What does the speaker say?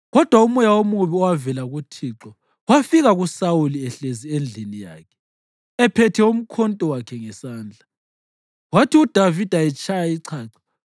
Kodwa umoya omubi owavela kuThixo wafika kuSawuli ehlezi endlini yakhe ephethe umkhonto wakhe ngesandla. Kwathi uDavida etshaya ichacho,